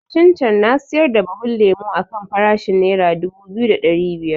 Satin can na siyar da buhun lemo a kan farashin nera dubu biyu da ɗari biyar